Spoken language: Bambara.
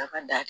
A ka da